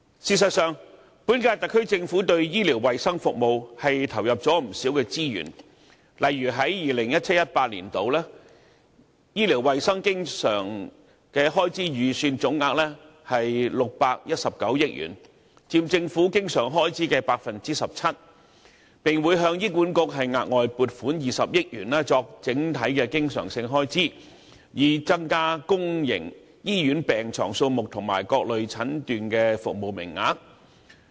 事實上，本屆特區政府對醫療衞生服務投入了不少資源，例如在 2017-2018 年度，醫療衞生經常性開支預算總額為619億元，佔政府經常性開支的 17%， 並會向醫管局額外撥款20億元作整體經常性開支，以增加公營醫院病床數目和各類診斷服務名額。